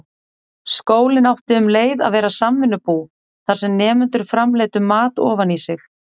Skólinn átti um leið að vera samvinnubú, þar sem nemendur framleiddu mat ofan í sig.